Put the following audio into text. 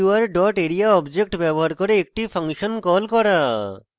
sqr dot area object ব্যবহার করে একটি ফাংশন call করা